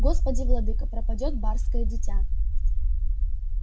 господи владыко пропадёт барское дитя